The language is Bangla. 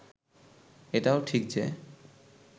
এটাও ঠিক যে